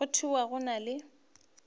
go thwe go na le